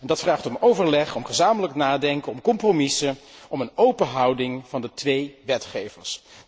Dat vraagt om overleg, om gezamenlijk nadenken, om compromissen, om een open houding van de twee wetgevers.